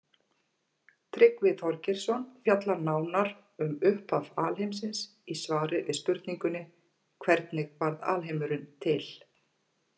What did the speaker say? Tryggvi Þorgeirsson fjallar nánar um upphaf alheimsins í svari við spurningunni Hvernig varð alheimurinn til?